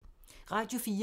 Radio 4